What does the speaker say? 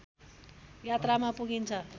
यात्रामा पुगिन्छ